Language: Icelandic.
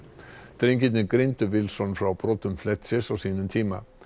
drengirnir greindu frá brotum Fletchers á sínum tíma